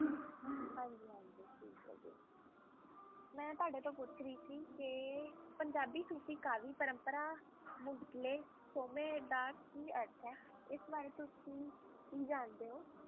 ਹਾਂਜੀ ਹਾਂਜੀ ਠੀਕ ਹੈ ਜੀ ਮੈਂ ਤੁਹਾਡੇ ਤੋਂ ਪੁੱਛ ਰਹੀ ਸੀ ਕਿ ਪੰਜਾਬੀ ਸੂਫ਼ੀ ਕਾਵਿ ਪਰੰਪਰਾ ਮੁੱਢਲੇ ਸੋਮੇ ਦਾ ਕੀ ਅਰਥ ਹੈ ਇਸ ਬਾਰੇ ਤੁਸੀਂ ਕੀ ਜਾਣਦੇ ਹੋ?